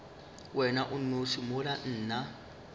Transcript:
wena o nnoši mola nna